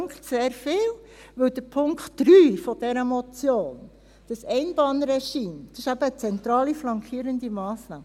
Mich dünkt, sehr viel, denn der Punkt 3 dieser Motion, das Einbahnregime, ist eben eine zentrale flankierende Massnahme.